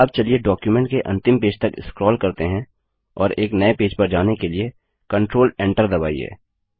अब चलिए डॉक्युमेंट के अंतिम पेज तक स्क्रोल करते हैं और एक नये पेज पर जाने के लिए Ctrl Enter दबाइए